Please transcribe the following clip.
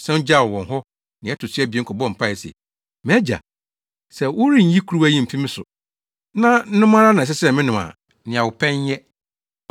Ɔsan gyaw wɔn hɔ nea ɛto so abien kɔbɔɔ mpae se, “MʼAgya, sɛ wɔrenyi kuruwa yi mfi me so, na nom ara na ɛsɛ sɛ menom a, nea wopɛ nyɛ.”